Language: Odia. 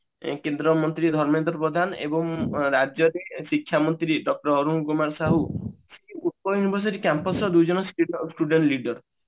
କେନ୍ଦ୍ର ମନ୍ତ୍ରୀ ଧର୍ମେନ୍ଦ୍ର ପ୍ରଧାନ ଏବଂ ରାଜ୍ୟରେ ଶିକ୍ଷା ମନ୍ତ୍ରୀ doctor ଅରୁଣ କୁମାର ସାହୁ Campus ରେ ଦୁଇଜଣ student leader